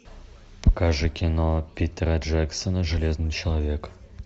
покажи кино питера джексона железный человек